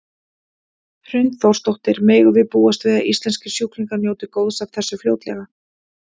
Hrund Þórsdóttir: Megum við búast við að íslenskir sjúklingar njóti góðs af þessu fljótlega?